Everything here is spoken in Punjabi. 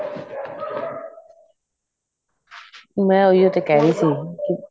ਮੈਂ ਉਹੀ ਓ ਤਾਂ ਕਹਿ ਰਹੀ ਸੀ